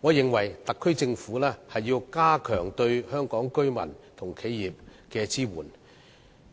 我認為特區政府要加強對香港居民和企業的支援，